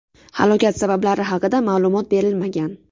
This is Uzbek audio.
Halokat sabablari haqida ma’lumot berilmagan.